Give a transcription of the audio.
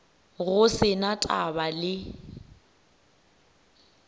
go se na taba le